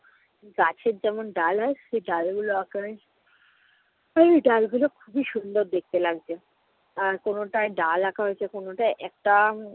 গাছের যেমন ডাল হয় সে ডালগুলোর আকারে এই ডালগুলো খুবই সুন্দর দেখতে লাগবে। আর কোনটায় ডাল আঁকা হয়েছে আর কোনটায় একটা উম